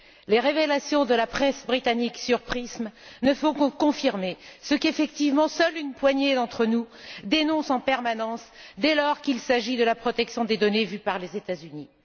Les révélations de la presse britannique sur le programme PRISM ne font que confirmer ce qu'effectivement seule une poignée d'entre nous dénonce en permanence, dès lors qu'il s'agit de la protection des données vue par les États Unis.